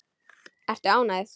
Ertu ánægð?